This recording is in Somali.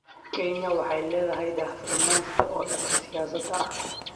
Kenya waxay leedahay daah-furnaan sare oo dhanka siyaasadda ah.